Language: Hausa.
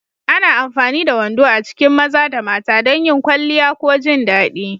Ana amfani da wando a cikin maza da mata don yin kwalliya ko jin daɗi.